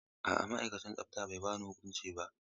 A'a, ma'aikacin tsafta bai ba ni huƙunci ba.